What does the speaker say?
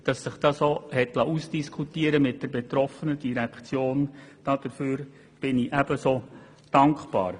Und ich bin ebenso dankbar dafür, dass wir dies mit der betroffenen Direktion ausdiskutieren konnten.